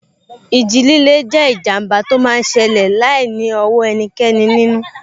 Ìjì líle jẹ́ ìjàmbá tó máa n ṣẹlẹ̀ láìní ọwọ́ ẹnikẹ́ni nínú